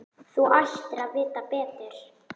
Þú ættir að vita betur.